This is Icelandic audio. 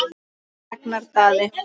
Ragnar Daði.